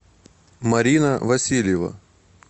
марина васильева